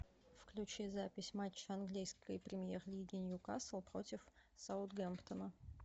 включи запись матча английской премьер лиги ньюкасл против саутгемптона